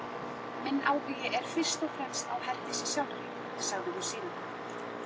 Minn áhugi er fyrst og fremst á Herdísi sjálfri, sagði hún síðan.